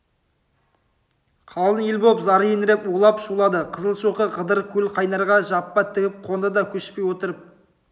қалың ел болып зар еңіреп улап-шулады қызылшоқы қыдыр көлқайнарға жаппа тігіп қонды да көшпей отырып